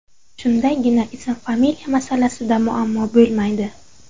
Shundagina ism-familiya masalasida muammo bo‘lmaydi.